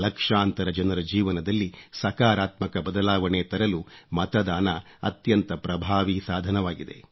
ಲಕ್ಷಾಂತರ ಜನರ ಜೀವನದಲ್ಲಿ ಸಕಾರಾತ್ಮಕ ಬದಲಾವಣೆ ತರಲು ಮತದಾನ ಅತ್ಯಂತ ಪ್ರಭಾವಿ ಸಾಧನವಾಗಿದೆ